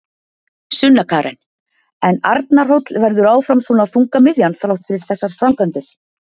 Sunna Karen: En Arnarhóll verður áfram svona þungamiðjan þrátt fyrir þessar framkvæmdir?